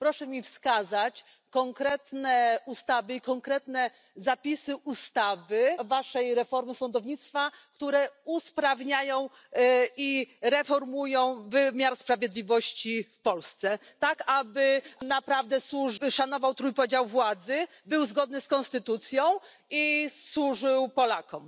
Proszę mi wskazać konkretne ustawy i konkretne zapisy ustawy waszej reformy sądownictwa, które usprawniają i reformują wymiar sprawiedliwości w Polsce, tak aby naprawdę szanował trójpodział władzy, był zgodny z konstytucją i służył Polakom.